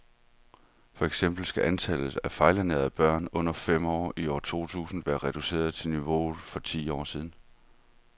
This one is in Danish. For eksempel skal antallet af fejlernærede børn under fem år i år to tusind være reduceret til niveauet for for ti år siden.